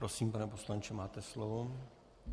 Prosím, pane poslanče, máte slovo.